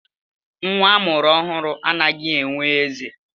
Nwa a mụrụ ọhụrụ anaghị enwe eze.